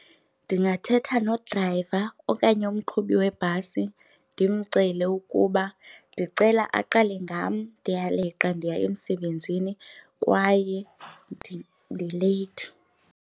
Ndingathetha nodrayiva okanye umqhubi webhasi ndimcele ukuba ndicela aqale ngam, ndiyaleqa ndiya emsebenzini kwaye ndileyithi.